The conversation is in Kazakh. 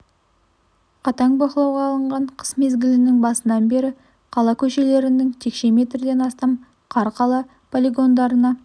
қатаң бақылауға алынған қыс мезгілінің басынан бері қала көшелерінен текше метрден астам қар қала полигондарына